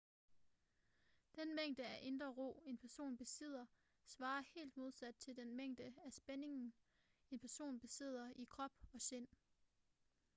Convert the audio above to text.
den mængde af indre ro en person besidder svarer helt modsat til den mængde af spænding en person besidder i krop og sind